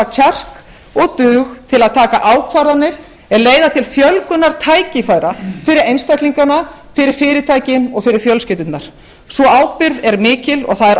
kjark og dug til að taka ákvarðanir er leiða til fjölgunar tækifæra fyrir einstaklingana fyrir fyrirtækin og fyrir fjölskyldurnar sú ábyrgð er mikil og það er